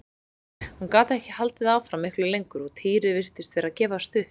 Hún gat ekki haldið áfram miklu lengur og Týri virtist vera að gefast upp.